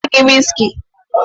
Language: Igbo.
M ga-ewetara gi wiski?